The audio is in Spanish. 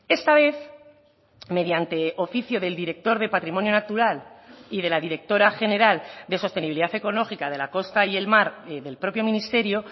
esta vez mediante oficio del director de patrimonio natural y de la directora general de sostenibilidad ecológica de la costa y el mar del propio ministerio